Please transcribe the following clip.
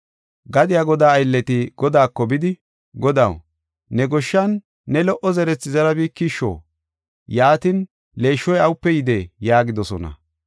“Gadiya godaa aylleti godaako bidi, ‘Godaw, ne goshshan ne lo77o zerethi zerabikisho? Yaatin, leeshshoy awupe yidee?’ yaagidosona.